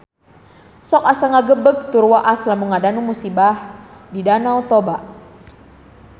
Sok asa ngagebeg tur waas lamun ngadangu musibah di Danau Toba